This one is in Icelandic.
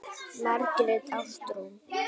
Margrét Ástrún.